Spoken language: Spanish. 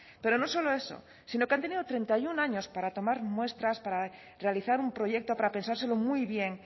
pero no solo eso sino que han tenido treinta y uno años para tomar muestras para realizar un proyecto para pensárselo muy bien